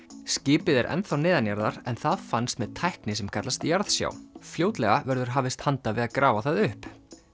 skipið er enn þá neðanjarðar en það fannst með tækni sem kallast jarðsjá fljótlega verður hafist handa við að grafa það upp